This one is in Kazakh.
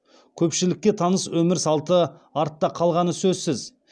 көпшілікке таныс өмір салты артта қалғаны сөзсіз